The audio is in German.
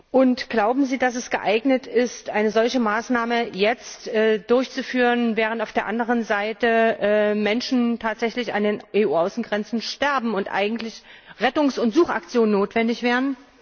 Und glauben Sie, dass es angebracht ist, eine solche Maßnahme jetzt durchzuführen, während auf der anderen Seite Menschen tatsächlich an den EU Außengrenzen sterben und eigentlich Rettungs und Suchaktionen notwendig wären?